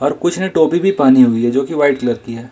कुछ ने टोपी भी पहनी हुई है जो कि व्हाइट कलर की है।